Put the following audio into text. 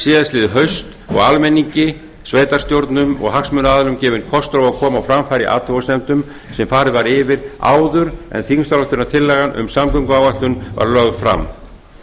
síðastliðið haust og almenningi sveitarstjórnum og hagsmunaaðilum gefinn kostur á að koma á framfæri athugasemdum sem farið var yfir áður en þingsályktunartillagan um samgönguáætlun var lögð fram